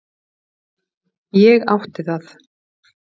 Ég átti það.